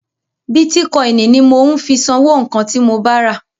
Bítíkọ́inì ni mò ń fi sanwó nǹkan ti mo ba rà..